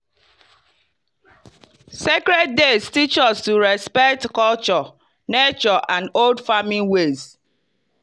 sacred days teach us to respect culture nature and old farming ways.